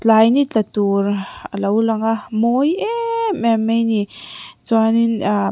tlai ni tla tur a lo lang a a mawi emm em mai a ni chuan in ahh--